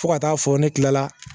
Fo ka taa fɔ ne kilala